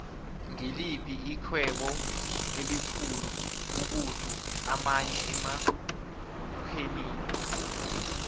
ngiliphi ixhwebo elikhulu ukudlu amanye enorhenile